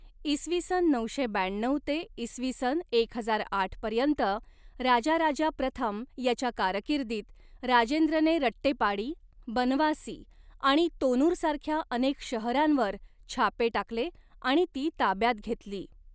इसवी सन नऊशे ब्याण्णऊ ते इसवी सन एक हजार आठ पर्यंत राजाराजा प्रथम याच्या कारकिर्दीत, राजेंद्रने रट्टेपाडी, बनवासी आणि तोनूर सारख्या अनेक शहरांवर छापे टाकले आणि ती ताब्यात घेतली.